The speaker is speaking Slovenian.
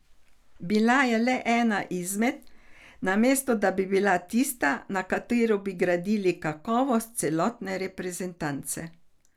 Bila je le ena izmed, namesto da bi bila tista, na kateri bi gradili kakovost celotne reprezentance.